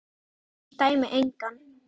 Ég dæmi engan.